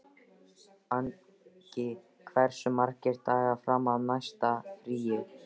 Angi, hversu margir dagar fram að næsta fríi?